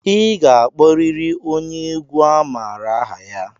I ga-akpọrịrị onye egwu a maara aha ya!